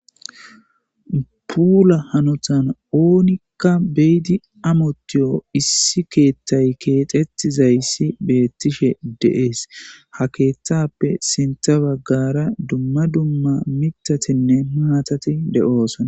puula hanotan oonikka beyidi amotiyo issi keethtay keexetizayssi beettishe deees ha keeththappe sinta baggara dumma dumma mitatinne maatati de7oosana